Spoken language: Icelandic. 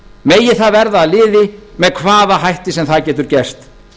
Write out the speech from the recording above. megi það verða að liði með hvaða hætti sem það getur gerst